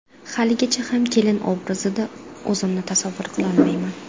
Haligacha ham kelin obrazida o‘zimni tasavvur qilolmayman.